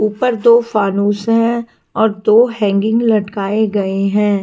ऊपर दो फ़ानुश है और दो हैंगिंग लटकाए गए हैं।